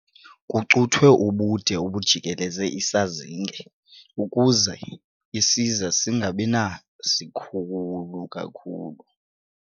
Kucuthwe ubude obujikeleze isazinge ukuze isiza singabi sikhulu kakhulu.